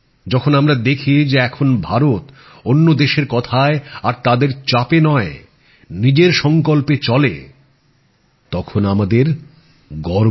যখন আমরা দেখি যে এখন ভারত অন্য দেশের কথায় আর তাদের চাপে নয় নিজের সংকল্পে চলে তখন আমাদের গর্ব হয়